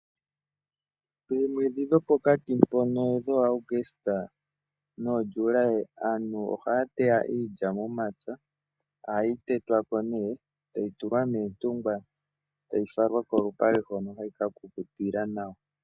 Memwedhi dho pokati mpoka dho Aguste noJuli aantu oha ya teya iilya momapya, oha yi tetwa ko nee e ta yi tulwa moontungwa e tayi falwa kolupale hono hayi kakukutila nawa.